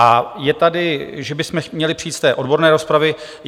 A je tady, že bychom měli přijít z té odborné rozpravy.